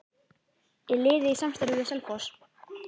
Er liðið í samstarfi við Selfoss?